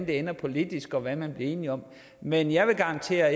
ender politisk og hvad man bliver enige om men jeg vil garantere